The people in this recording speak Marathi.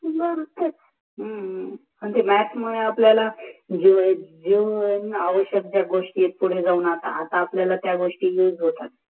बर तेच, ह्म ह ते म्म्याथ मुले आपल्याला जीवना आवशक ज्या गोष्टी पुढे जाऊन त्या गोष्टी येतात